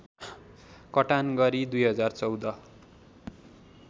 कटान गरी २०१४